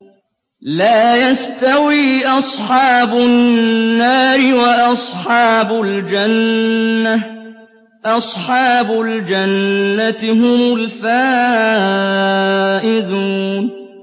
لَا يَسْتَوِي أَصْحَابُ النَّارِ وَأَصْحَابُ الْجَنَّةِ ۚ أَصْحَابُ الْجَنَّةِ هُمُ الْفَائِزُونَ